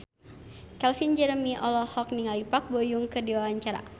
Calvin Jeremy olohok ningali Park Bo Yung keur diwawancara